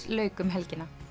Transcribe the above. lauk um helgina